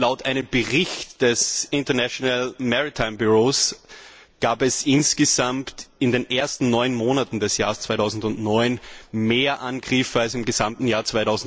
Laut einem Bericht des International Maritime Bureau gab es insgesamt in den ersten neun Monaten des Jahres 2009 mehr Angriffe als im gesamten Jahr